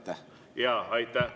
Aitäh!